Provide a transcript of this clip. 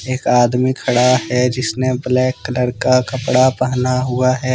एक आदमी खड़ा है जिसने ब्लैक कलर का कपड़ा पहना हुआ है।